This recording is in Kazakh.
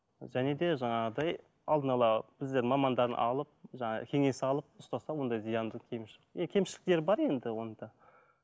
және де жаңағыдай алдын ала біздер мамандарын алып жаңағы кеңес алып ұстаса ондай зиянды кемшіліктері бар енді оның да